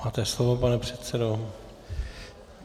Máte slovo, pane předsedo.